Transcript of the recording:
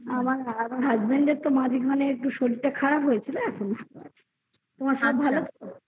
husband এর তো মাঝে মাঝে শরীর তা খারাপ হয় ছিল তোমার সব ভালো তো